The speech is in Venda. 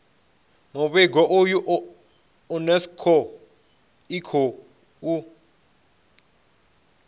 muvhigo uyu unesco i khou